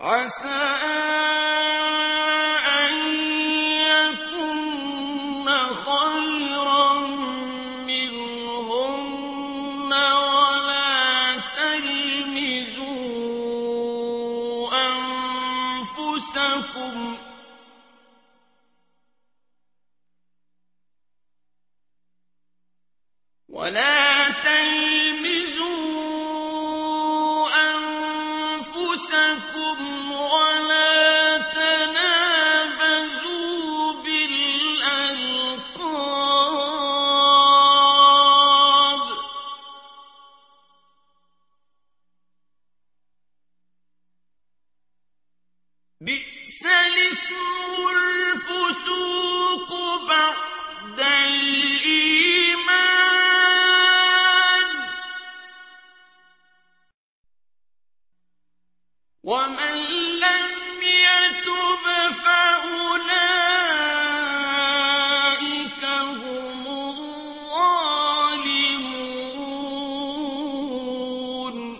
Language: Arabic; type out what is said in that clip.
عَسَىٰ أَن يَكُنَّ خَيْرًا مِّنْهُنَّ ۖ وَلَا تَلْمِزُوا أَنفُسَكُمْ وَلَا تَنَابَزُوا بِالْأَلْقَابِ ۖ بِئْسَ الِاسْمُ الْفُسُوقُ بَعْدَ الْإِيمَانِ ۚ وَمَن لَّمْ يَتُبْ فَأُولَٰئِكَ هُمُ الظَّالِمُونَ